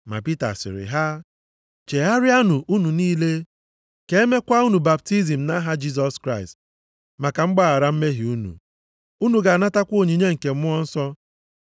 Ma Pita sịrị ha, “Chegharịanụ unu niile. Ka e mekwa unu baptizim nʼaha Jisọs Kraịst, maka mgbaghara mmehie unu. Unu ga-anatakwa onyinye nke Mmụọ Nsọ.